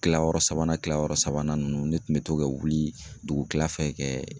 Kilayɔrɔ sabanan kila yɔrɔ sabanan nunnu ne tun bɛ to ka wuli dugukila fɛ kɛ